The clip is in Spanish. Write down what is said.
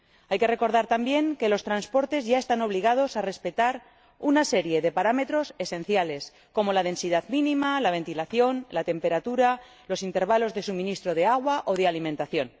Hay que recordar también que los transportes ya están obligados a respetar una serie de parámetros esenciales, como la densidad mínima, la ventilación, la temperatura o los intervalos de suministro de agua o de alimentación.